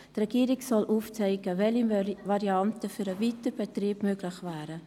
Die Regierung soll aufzeigen, welche Varianten für den Weiterbetrieb möglich wären.